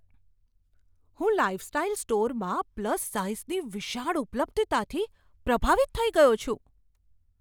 હું લાઇફસ્ટાઇલ સ્ટોરમાં પ્લસ સાઈઝની વિશાળ ઉપલબ્ધતાથી પ્રભાવિત થઈ ગયો છું.